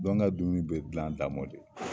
Bagan ka dumuni bɛ dilan a damɔ de.